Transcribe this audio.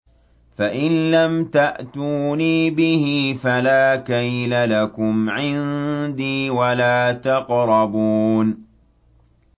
فَإِن لَّمْ تَأْتُونِي بِهِ فَلَا كَيْلَ لَكُمْ عِندِي وَلَا تَقْرَبُونِ